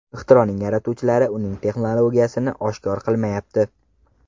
Ixtironing yaratuvchilari uning texnologiyasini oshkor qilmayapti.